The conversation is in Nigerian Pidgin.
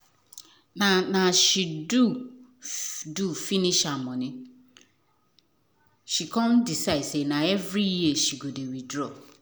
na as she doh doh finish her money she con decide say na every year she go dey withdraw